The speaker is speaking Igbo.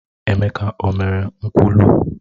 Emeka o mere nkwulu?